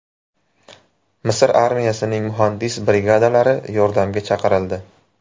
Misr armiyasining muhandis brigadalari yordamga chaqirildi.